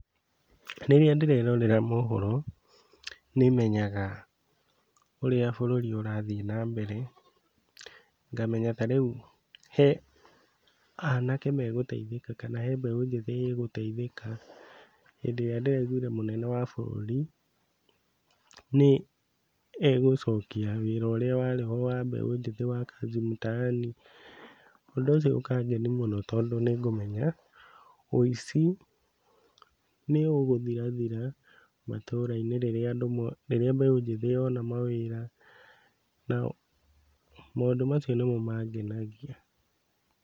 Rĩrĩa ndĩrerorera mohoro nĩmenyaga ũrĩa bũrũri ũrathiĩ na mbere, ngamenya ta rĩu he anake megũteithĩka kana he mbeũ njĩthĩ ĩgũteithĩka hĩndĩ ĩrĩa ndĩraiguire mũnene wa bũrũri nĩegũcokia wĩra ũrĩa warĩ wa mbeũ njĩthĩ wa Kazi Mtaani, ũndũ ũcio ũkangeni mũno tondũ nĩngũmenya wĩici nĩũgũthirathira matũra-inĩ rĩrĩa andũ mo rĩrĩa mbeũ njĩthĩ mona mawĩra, nao maũndũ macio nĩmo mangenagia.